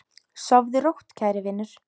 Sofðu rótt, kæri vinur.